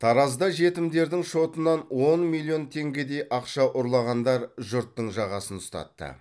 таразда жетімдердің шотынан он миллион теңгедей ақша ұрлағандар жұрттың жағасын ұстатты